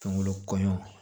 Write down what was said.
Kungolo kɔɲɔn